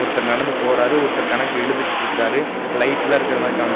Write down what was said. ஒருத்தர் நடந்து போறாரு ஒருத்தர் கணக்கு எழுதிக்கிட்ருக்காரு லைட்லா இருக்கற மாரி காம்ச்சு--